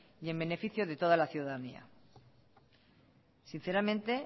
y en beneficio de toda la ciudadanía sinceramente